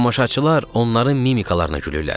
Tamaşaçılar onların mimikalarına gülürlər.